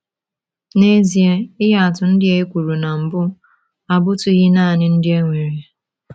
N’ezie, ihe atụ ndị a ekwuru na mbụ abụtụghị nanị ndị e nwere.